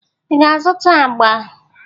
Ị ga-azụta agba?